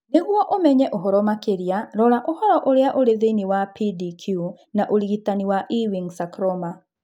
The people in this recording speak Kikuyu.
Nĩguo ũmenye ũhoro makĩria, rora ũhoro ũrĩa ũrĩ thĩinĩ wa PDQ wa ũrigitani wa Ewing sarcoma.